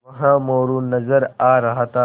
वहाँ मोरू नज़र आ रहा था